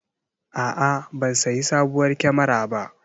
A'a, ban sayi sabuwar kyamara ba.